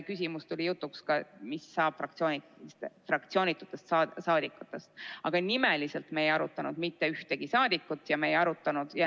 Tuli küll jutuks see küsimus, mis saab fraktsioonitutest parlamendiliikmetest, aga nimeliselt me ei arutanud mitte ühegi saadiku üle.